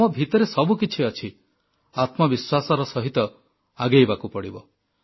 ଆମ ଭିତରେ ସବୁକିଛି ଅଛି ଆତ୍ମବିଶ୍ୱାସର ସହିତ ଆଗେଇବାକୁ ପଡ଼ିବ